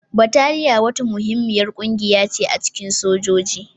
Bataliya wata muhimmiyar ƙungiya ce a cikin sojoji.